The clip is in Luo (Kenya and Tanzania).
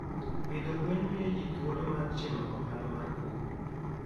Pidho gwen miyo ji thuolo mar timo ohala mar pur.